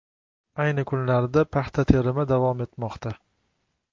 Ayni kunlarda paxta terimi davom etmoqda.